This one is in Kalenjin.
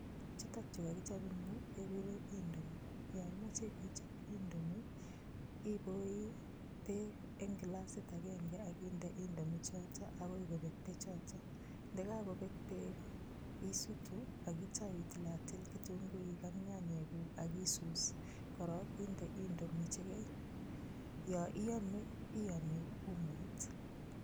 Chutokchu kakichop engyu kegure indomi. Yo imache ichop indomi ipoi beek eng kilasit agenge akinde indomi chotok akoi kobek beekchotok. Ndekakopek beek isutu akitou itilatil kitunguik ak nyanyeguk akitou isus. Yo iame iame umoit.